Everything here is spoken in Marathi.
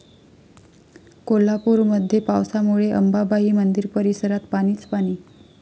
कोल्हापूरमध्ये पावसामुळे अंबाबाई मंदिर परिसरात पाणीच पाणी